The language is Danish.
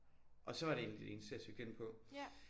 Og så var det egentlig det eneste jeg søgte ind på